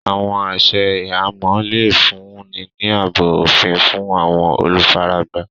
Àwọn àṣẹ̀ ìhàmọ̀ le fún ni ní àábò ofín fún àwọn olúfáràgbá.